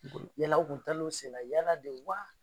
Yala u kun taala u senna yala de wa?